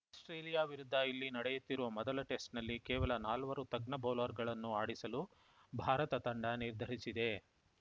Australia ವಿರುದ್ಧ ಇಲ್ಲಿ ನಡೆಯುತ್ತಿರುವ ಮೊದಲ ಟೆಸ್ಟ್‌ನಲ್ಲಿ ಕೇವಲ ನಾಲ್ವರು ತಜ್ಞ ಬೌಲರ್‌ಗಳನ್ನು ಆಡಿಸಲು ಭಾರತ ತಂಡ ನಿರ್ಧರಿಸಿದೆ